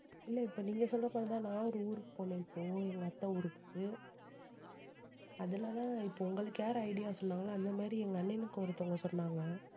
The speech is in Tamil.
இல்லை, இப்ப நீங்க சொல்ற மாதிரிதான், நான் ஒரு ஊருக்கு போனேன். இப்போ எங்க அத்தை ஊருக்கு அதுலதான் இப்ப உங்களுக்கு யாரு idea சொன்னாங்களோ அந்த மாதிரி எங்க அண்ணனுக்கு ஒருத்தவங்க சொன்னாங்க